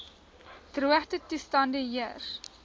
droogte toestande heers